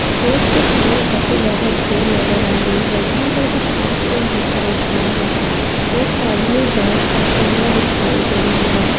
Stage के सामने काफी ज्यादा भीड़ नजर आ रही हैं। यहाँ पर कुछ कार्यग्रम होता दिख रहा हैं। एक आदमी डांस करता हुआ दिखाई दे रहा हैं।